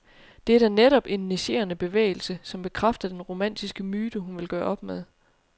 Det er da netop en negerende bevægelse, som bekræfter den romantiske myte, hun vil gøre op med.